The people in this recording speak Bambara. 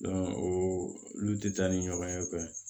o olu tɛ taa ni ɲɔgɔn ye fɛnɛ